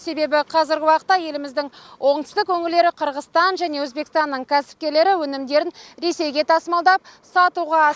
себебі қазіргі уақытта еліміздің оңтүстік өңірлері қырғызстан және өзбекстанның кәсіпкерлері өнімдерін ресейге тасымалдап сатуға асық